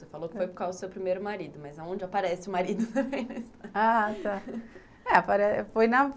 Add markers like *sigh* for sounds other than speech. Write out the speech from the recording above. Você falou que foi por causa do seu primeiro marido, mas aonde aparece o *laughs* marido?